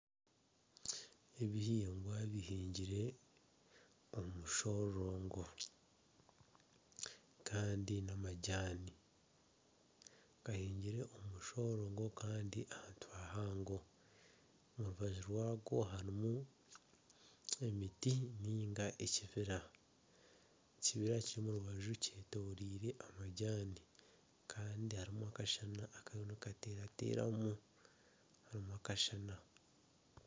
Ebihingwa bihingirwe omu mushororongo kandi n'amajaani gahingire omu mushororongo kandi ahantu hahango omu rubaju rwago harimu emiti ninga ekibira, ekibira ky'omu rubaju kyetorirwe amajaani kandi harimu akashana akarimu nikateerateramu, harimu akashana.